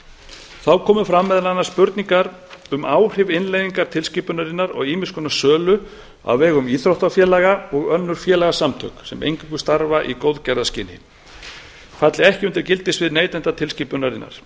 þá komu meðal annars fram spurningar um áhrif innleiðing tilskipunarinnar og ýmiss konar sölu á vegum íþróttafélaga og önnur félagasamtök sem eingöngu starfa í góðgerðarskyni falli ekki undir gildissvið